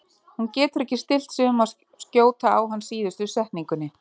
Hún getur ekki stillt sig um að skjóta á hann í síðustu setningunni.